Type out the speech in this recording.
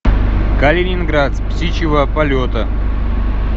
калининград с птичьего полета